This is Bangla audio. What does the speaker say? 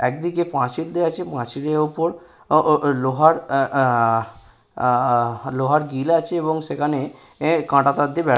একদিকে পাচিল দেওয়া আছে পাঁচিলটির ওপর লোহার আহা- আহা- লোহার গিল আছে এবং সেখানে কাঁটাতার দিয়ে বেড়া।